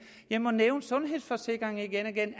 jeg må nævne sundhedsforsikringer igen og igen